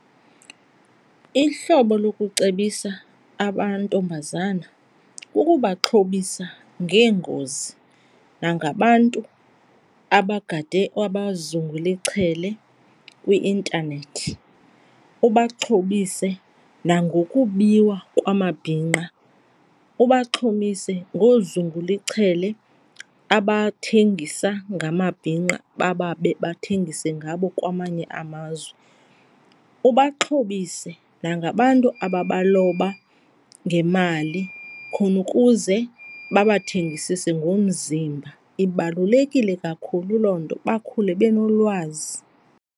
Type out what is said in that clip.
Ihlobo lokucebisa amantombazana kukubaxhobisa ngeengozi nangabantu abagade abazungula ichele kwi-intanethi. Ubaxhobise nangokubiwa kwamabhinqa, ubaxhobise ngoozungula ichele abathengisa ngamabhinqa, bababe, bathengise ngabo kwamanye amazwe. Ubaxhobise nangabantu ababaloba ngemali khona ukuze babathengisise ngomzimba. Ibalulekile kakhulu loo nto, bakhule benolwazi.